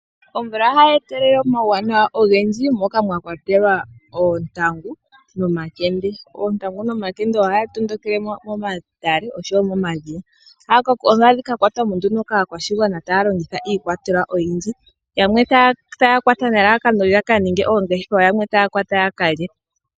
Omvula ohayi etelele omauwanawa ogendji moka mwakwatelwa oontangu nomakende. Oontangu nomakende ohaga tondokele momatale nosho wo momadhiya, moka hadhi ka kwatwa mo nduno kaakwashigwana taya longitha iikwatelwa oyindji yamwe taya kwata nelalakano yakaninge oongeshefa yamwe taya kwata ya kalye.